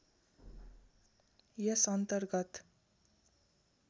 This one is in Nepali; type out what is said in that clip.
यस अन्तर्गत